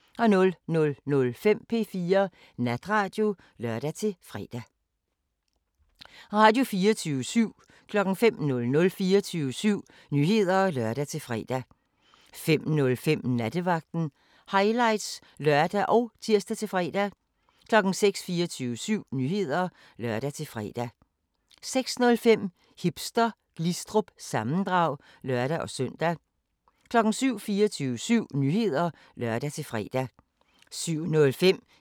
10:00: 24syv Nyheder (lør-fre) 10:05: Fisketegn 11:00: 24syv Nyheder (lør-fre) 11:05: Forældreintra 12:00: 24syv Nyheder (lør-fre) 12:05: Små Hverdagsproblemer 13:00: 24syv Nyheder (lør-fre) 13:05: Mit Livs Sexferie 14:00: 24syv Nyheder (lør-fre) 14:05: Kirsebær med de store